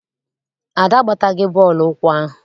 Ada agbataghi bọọlụ ụkwụ ahụ.